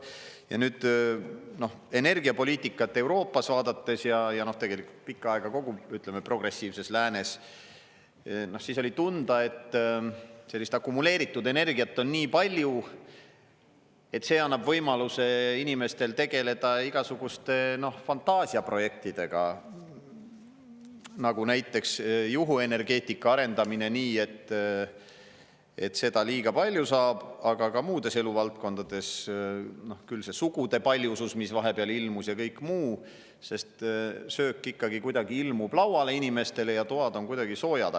Ja nüüd, energiapoliitikat Euroopas vaadates ja tegelikult pikka aega, ütleme, kogu progressiivses läänes, siis oli tunda, et sellist akumuleeritud energiat on nii palju, et see annab võimaluse inimestel tegeleda igasuguste fantaasiaprojektidega, näiteks juhuenergeetika arendamisega nii, et seda liiga palju saab, aga ka muudes eluvaldkondades, küll see sugude paljusus, mis vahepeal ilmus ja kõik muu, sest söök ikkagi kuidagi ilmub lauale inimestele ja toad on soojad.